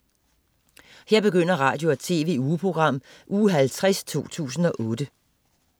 Radio- og TV-ugeprogram Uge 50, 2008